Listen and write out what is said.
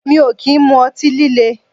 Mi ò kì ń mu ọtí líle